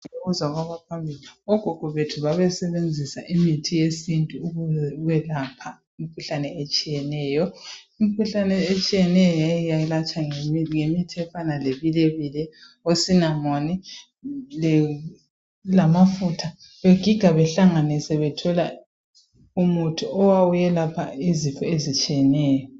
Indlela ibuzwa kwabaphambili, ogogo bethu babesebenzisa imithi yesintu beyelapha imkhuhlane etshiyeneyo. Imkhuhlane etshiyeneyo yayelatshwa ngemithi efana lebilebile osinamoni lamafutha begiga behlanganise bethola umuthi owawuyelapha izifo ezitshiyeneyo.